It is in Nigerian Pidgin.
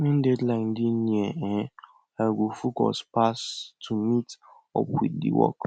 when deadline dey near um i go focus pass to meet up with the work